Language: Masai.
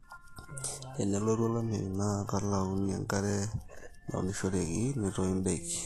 tenelotu olameyu naa kelauni enkare naunishoreki netoyu ndaiki